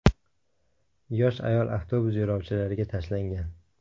Yosh ayol avtobus yo‘lovchilariga tashlangan.